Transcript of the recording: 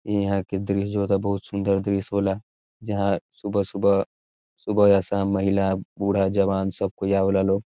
ईहाँ के दृश्य जो होता बहुत सुंदर दृश्य होला | यहाँ सुबह-सुबह सुबह या शाम महिला बूढ़ा जवान सब कोई आवेला लोग |